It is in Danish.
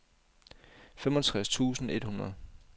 femogtres tusind et hundrede